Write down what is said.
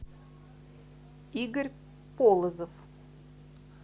игорь полозов